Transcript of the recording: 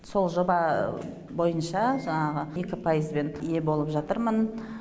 сол жоба бойынша жаңағы екі пайызбен ие болып жатырмын